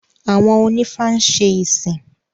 Àwọn onífá ń ṣe ìsìn